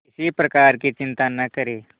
किसी प्रकार की चिंता न करें